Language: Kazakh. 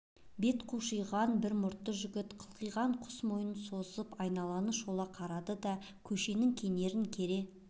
бет қушиған бір мұртты жігіт қылқиған құс мойнын созып айналаны шола қарады да көшенің кенерін кере